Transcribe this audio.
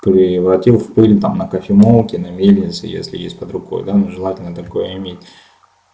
превратить в пыль там на кофемолке на мельнице если есть под рукой да ну желательно такое иметь